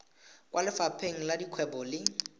kwa lefapheng la dikgwebo le